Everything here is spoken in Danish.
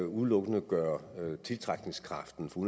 udelukkende gøre tiltrækningskraften for